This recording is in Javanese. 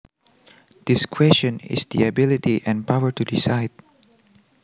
Discretion is the ability and power to decide